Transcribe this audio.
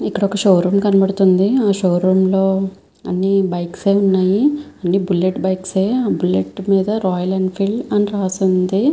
ఇక్కడ ఒక్క show room కనపడుతుంది. ఆ షో రూమ్ లో అన్ని బైక్స్ ఏ ఉన్నాయి. అని బుల్లెట్ బైక్స్ బుల్లెట్ మీద రాయల్ ఎన్ఫీల్డ్ అని రాసి ఉంది.